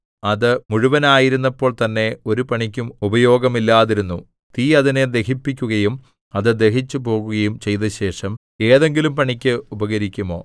അത് മുഴുവനായിരുന്നപ്പോൾതന്നെ ഒരു പണിക്കും ഉപയോഗമില്ലാതിരുന്നു തീ അതിനെ ദഹിപ്പിക്കുകയും അത് ദഹിച്ചുപോകുകയും ചെയ്തശേഷം ഏതെങ്കിലും പണിക്ക് ഉപകരിക്കുമോ